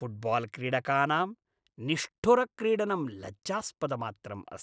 फ़ुट्बाल्क्रीडकानाम् निष्ठुरक्रीडनं लज्जास्पदमात्रम् अस्ति।